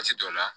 Waati dɔ la